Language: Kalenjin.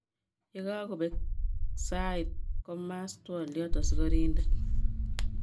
Yakakobek sait kumas twoliat askarident.